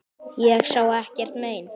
Ég sá ekkert mein.